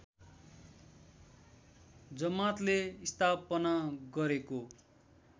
जमातले स्थापना गरेको